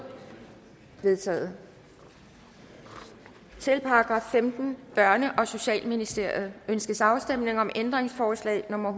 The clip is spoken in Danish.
vedtaget til § femtende børne og socialministeriet ønskes afstemning om ændringsforslag nummer